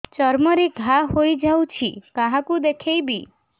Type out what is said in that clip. ଚର୍ମ ରେ ଘା ହୋଇଯାଇଛି କାହାକୁ ଦେଖେଇବି